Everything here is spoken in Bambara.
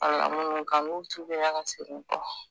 A yɛlɛla munnu kan nu tubila ka segin kɔ